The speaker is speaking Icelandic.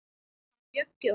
Hann Bjöggi okkar.